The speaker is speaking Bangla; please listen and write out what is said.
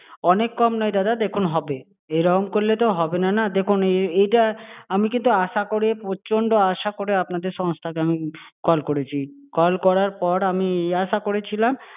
অনেক কম নয় দাদা দেখুন, হবে। এইরকম করলে তো হবেনা না। দেখুন এইটা আমি কিন্তু আশা করে, প্রচন্ড আশা করে আপনাদের সংস্থা কে আমি call করেছি। call করার পর আমি এই আশা করেছিলাম।